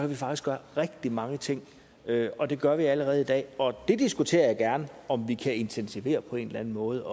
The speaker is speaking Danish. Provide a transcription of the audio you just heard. vi faktisk gøre rigtig mange ting og det gør vi allerede i dag og det diskuterer jeg gerne om vi kan intensivere på en eller anden måde